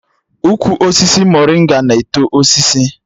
Ukwu osisi morịnga na-eto ọsịsọ